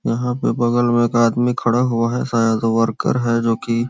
यहाँ पे बगल में एक आदमी खड़ा हुआ है शायद वो वर्कर है जो कि--